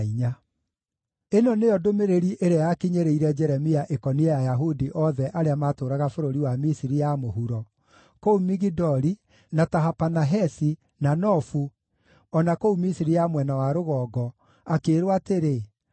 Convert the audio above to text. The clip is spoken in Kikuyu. Ĩno nĩyo ndũmĩrĩri ĩrĩa yakinyĩrĩire Jeremia ĩkoniĩ Ayahudi othe arĩa matũũraga bũrũri wa Misiri ya Mũhuro : kũu Migidoli, na Tahapanahesi, na Nofu, o na kũu Misiri ya mwena wa rũgongo, akĩĩrwo atĩrĩ: